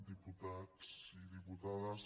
diputats i dipu·tades